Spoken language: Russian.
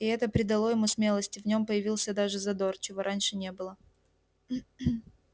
и это придало ему смелости в нём появился даже задор чего раньше не было